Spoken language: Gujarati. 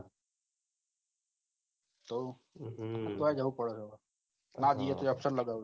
તોય જવું પડે છે ના જીએ તો absent લગાવું પડે